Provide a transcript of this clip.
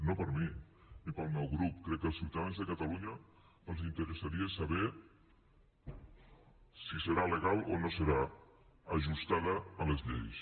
no per a mi ni per al meu grup crec que als ciutadans de catalunya els interessaria saber si serà legal o no serà ajustada a les lleis